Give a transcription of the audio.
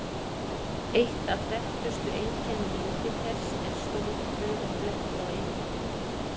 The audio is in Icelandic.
Eitt af þekktustu einkennum Júpíters er stór rauður blettur á yfirborðinu.